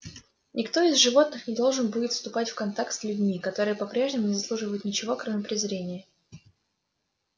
никто из животных не должен будет вступать в контакт с людьми которые по-прежнему не заслуживают ничего кроме презрения